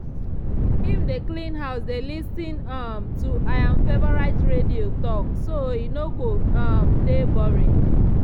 him dey clean house dey lis ten um to i'm favourite radio talk so e no go um dey boring.